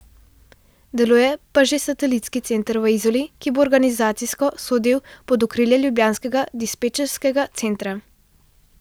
Deluje pa že satelitski center v Izoli, ki bo organizacijsko sodil pod okrilje ljubljanskega dispečerskega centra.